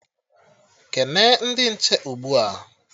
Kene ndị nche ugbua!